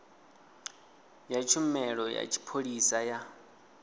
ya tshumelo ya tshipholisa ya